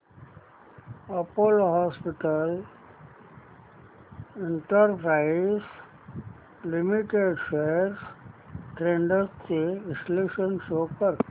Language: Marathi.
Apollo Hospitals Enterprise Limited shares trends चे विश्लेषण शो कर